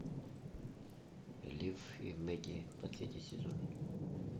лифф и мэгги последний сезон